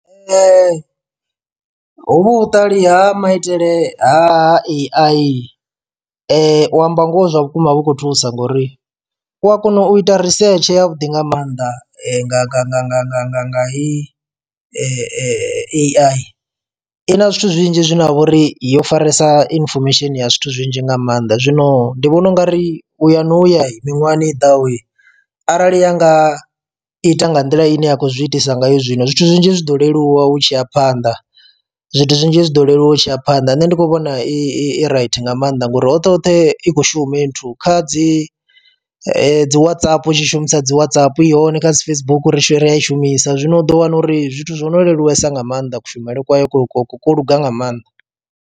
Nṋe hovhu vhuṱali ha maitele ha A_I u amba ngoho zwa vhukuma vhu khou thusa ngori u a kona u ita risetshe ya vhuḓi nga maanḓa nga nga nga nga nga nga nga hei A_I, i na zwithu zwinzhi zwine ha vha uri yo faresa inifomesheni ya zwithu zwinzhi nga maanḓa. Zwino ndi vhona ungari u ya no ya miṅwahani i ḓahoyi, arali ya nga ita nga nḓila ine ya khou zwi itisa ngayo zwino zwithu zwinzhi zwi ḓo leluwa hu tshi ya phanḓa. Zwithu zwinzhi zwi ḓo leluwa u tshi ya phanḓa nṋe ndi kho vhona i right nga maanḓa ngori hoṱhe hoṱhe i kho shuma i nthu kha dzi dzi Whatsapp u tshi shumisa dzi Whatsapp ihone kha dzi Facebook ri tshi ri a i shumisa zwino u ḓo wana uri zwithu zwo no leluwesa nga maanḓa kushumele kwa yo ku ku ku kwo luga nga maanḓa.